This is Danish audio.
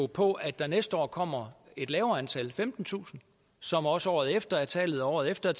på at der næste år kommer et lavere antal femtentusind som også året efter er tallet og året efter